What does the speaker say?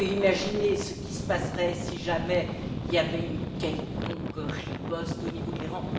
On peut imaginer ce qui se passerait si jamais il y avait une quelconque riposte au niveau de l'Iran.